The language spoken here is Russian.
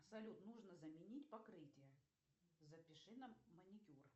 салют нужно заменить покрытие запиши на маникюр